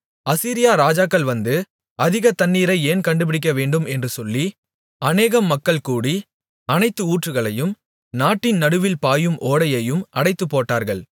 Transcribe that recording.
அசீரியா ராஜாக்கள் வந்து அதிக தண்ணீரை ஏன் கண்டுபிடிக்க வேண்டும் என்று சொல்லி அநேகம் மக்கள் கூடி அனைத்து ஊற்றுகளையும் நாட்டின் நடுவில் பாயும் ஓடையையும் அடைத்துப்போட்டார்கள்